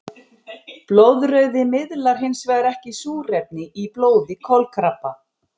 Blóðrauði miðlar hinsvegar ekki súrefni í blóði kolkrabba.